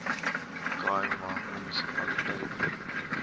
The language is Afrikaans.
khai ma munisipaliteit